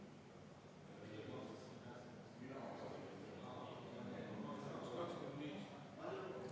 Järgnevalt muudatusettepanek nr 11, esitajateks Mart Helme ja Ants Frosch.